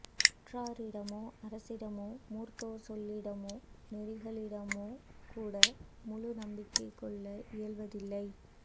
உற்றாரிடமோ அரசிடமோ மூத்தோர் சொல்லிடமோ நெறிகளிடமோகூட முழு நம்பிக்கை கொள்ள இயல்வதில்லை